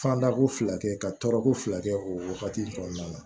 Fanda ko fila kɛ ka tɔɔrɔko fila kɛ o wagati in kɔnɔna na